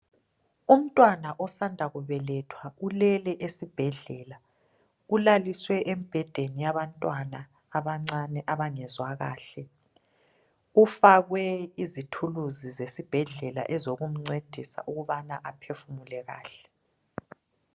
Umntwana osanda kubelethwa ulele esibhedlela, ulaliswe esibhedlela yabantwana abancane abangezwa kahle. Ufakwe izithuluzi zesibhedlela ezokumcedisa ukubana aphefumule kahle.